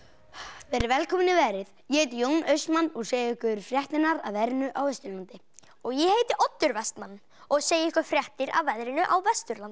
verið velkomin í veðrið ég heiti Jón Austmann og segi ykkur fréttirnar af veðrinu á Austurlandi og ég heiti Oddur Vestmann og segi ykkur fréttir af veðrinu á Vesturlandi